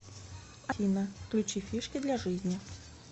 афина включи фишки для жизни